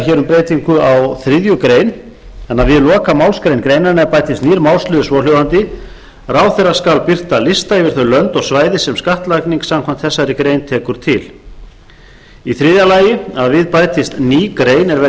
greinar og fleiri annars við þriðju grein við lokamálsgrein greinarinnar bætist nýr málsliður svohljóðandi ráðherra skal birta lista yfir þau lönd og svæði sem skattlagning samkvæmt þessari grein tekur til þriðja við bætist ný grein er verði